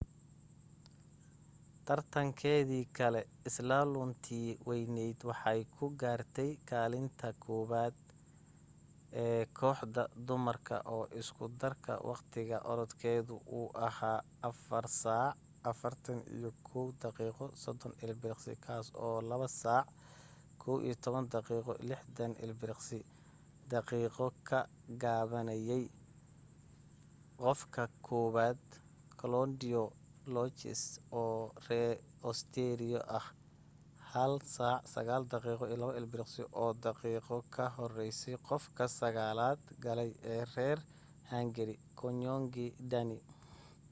tartankeedii kale slalom-tii waynayd waxay ku gaartay kaalinta tobnaad ee kooxda dumarka oo isku darka waqti orodkeedu uu ahaa 4:41.30 kaasoo 2:11.60 daqiiqo ka gaabinayay qofka koobaad claudia loesch oo ree usteeriya ah 1:09.02 oo daqiiqo ka hooseysa qofka sagaalaad galay ee reer hangari gyöngyi dani